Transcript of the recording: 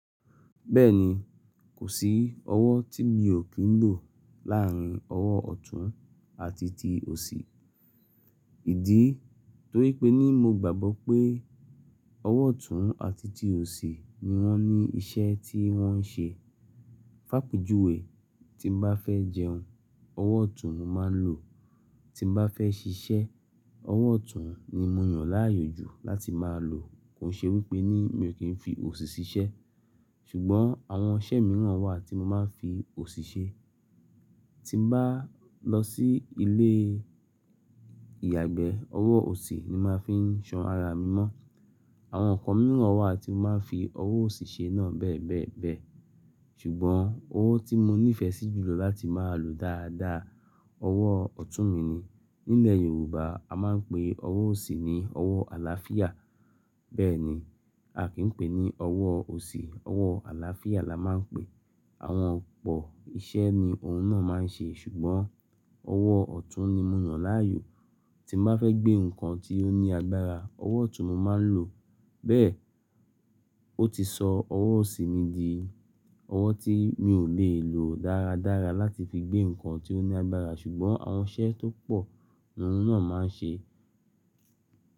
Bẹ́ẹ̀ni, kò sí ọwọ́ tí mi ò kí ń lò láàárín ọwọ́ ọ̀tún àti ti òsì. Ìdí torípé ní mo gbàgbọ́ pé ọwọ́ ọ̀tún àti ti òsì ni wọ́n ní iṣẹ́ tí wọ́n ń ṣe. Fápejùwẹ, tí n bá fẹ́ jẹun, ọwọ́ ọ̀tún mo máa ń lò. Tí n bá fẹ́ ṣiṣẹ́, ọwọ́ ọ̀tún ni mo yàn láàyò jù láti máa lò. Kò ṣe wípé ní mi ò kí ń fi òsì ṣiṣẹ́. Ṣùgbọ́n àwọn iṣẹ́ mìíràn wà tí mo máa ń fi òsì ṣe. Tí n bá lọ sí ilé ìyàgbẹ́, ọwọ́ òsì ni màá fi ń ṣan ara mi mọ́. Àwọn nǹkan mìíràn wà tí mo máa ń fi ọwọ́ òsì ṣe náà bẹ́ẹ̀ bẹ́ẹ̀ bẹ́ẹ̀. Ṣùgbọ́n owó tí mo nífẹ̀ẹ́ sí jùlọ láti máa lò dáadáa, ọwọ́ ọ̀tún mi ni. Nílẹ̀ Yorùbá a máa ń pe ọwọ́ òsì ní ọwọ́ àlàáfíà. Bẹ́ẹ̀ ni, a kì í pè ní ọwọ́ òsì, ọwọ́ àlàáfíà la máa ń pè. Àwọn ọ̀pọ̀ iṣẹ́ ni òun náà máa ń ṣe. Ṣùgbọ́n ọwọ́ ọ̀tún ni mo yan láàyò. Tí n bá fẹ́ gbé nǹkan tí ó ní agbára, ọwọ́ ọ̀tún mo máa ń lò. Bẹ́ẹ̀, ó ti sọ ọwọ́ òsì mi di ọwọ́ tí mi ò lè lò dáradára láti fi gbé nǹkan tí ó ní agbára. Ṣùgbọ́n àwọn iṣẹ́ tó pọ̀ ni òun náà mo máa ń ṣe.